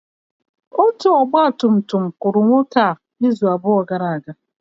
Otu ọgba tum tum kụrụ nwoke a izu abụọ gara aga.